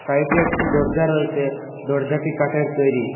সাইডে একটি দরজা রয়েসে দরজাটি কাঠের তৈরি।